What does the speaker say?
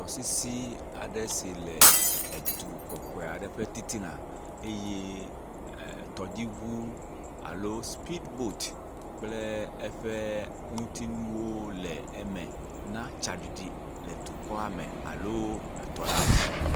tɔsisi aɖe si le du kɔkɔeaɖe ƒe titina eye tɔdziʋu alo speed boat kple eƒe ŋutiŋuwo le eme na tsaɖiɖi le dukɔa me alo etɔladzi